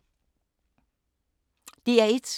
DR1